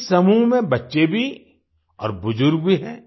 इस समूह में बच्चे भी और बुज़ुर्ग भी हैं